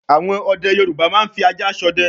àwọn ọdẹ Yorùbá máa ń fi ajá s'ọdẹ